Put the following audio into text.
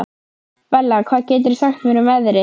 Bella, hvað geturðu sagt mér um veðrið?